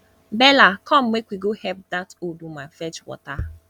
bella come make we go help dat old woman fetch water